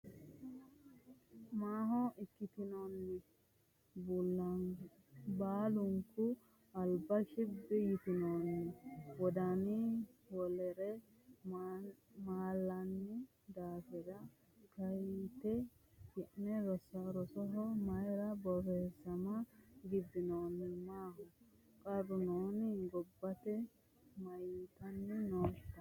Maaho ikkitinoonni? Baalunku alba shibbi yitinoonni? Wodanunni wolere malanni daafira Kaayyite Ki’ne rosoho mayra borreessama gibbinoonni? Maaho qarru nooni? Gabbiite Mayyitanni nootta?